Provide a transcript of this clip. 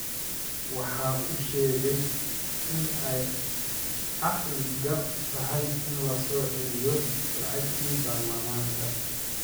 Waxa uu sheegay in ay caqli gal tahay in la soo celiyo lacagtii Baarlamaanka.